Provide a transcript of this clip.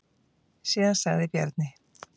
Síðan sagði Bjarni: